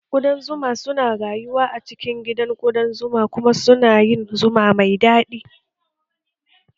Kuɗan zuma su na rayuwa a cikin gidan kuɗan zuma kuma su na yin zuma mai daɗi